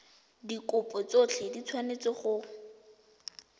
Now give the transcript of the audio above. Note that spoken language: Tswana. dikopo tsotlhe di tshwanetse go